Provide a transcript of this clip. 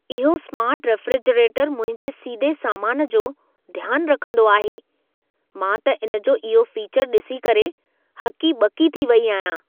इहो smart refrigerator मुंहिंजे सीदे सामान जो ध्यान रखंदो आहे। मां त इन जो इहो फीचर ॾिसी करे हकी-ॿकी थी वई आहियां।